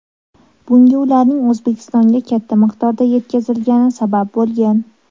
Bunga ularning O‘zbekistonga katta miqdorda yetkazilgani sabab bo‘lgan .